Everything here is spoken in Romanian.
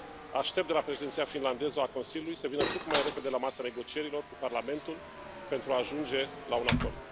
Aștept de la Președinția finlandeză a Consiliului să vină cât mai repede la masa negocierilor cu Parlamentul pentru a ajunge la un acord.